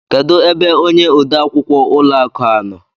Kedu ebe ónyé ode akwukwọ ụlọ akụ a nọ?